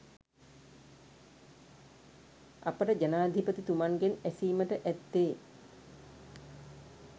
අපට ජනාධිපතිතුමන්ගෙන් ඇසීමට ඇත්තේ